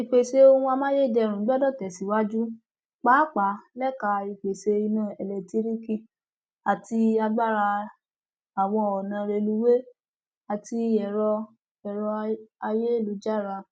ìpèsè ohun amáyédẹrùn gbọdọ tẹsíwájú pàápàá lẹka ìpèsè iná eléńtíríìkì àti agbára àwọn ọnà rélùwéè àti ẹrọ ẹrọ ayélujára